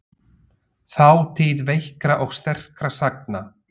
Þátíð veikra og sterkra sagna.